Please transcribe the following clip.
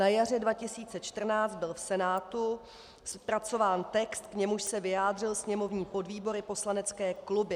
Na jaře 2014 byl v Senátu zpracován text, k němuž se vyjádřil sněmovní podvýbor i poslanecké kluby.